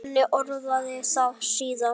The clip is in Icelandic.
Svenni orðaði það síðar.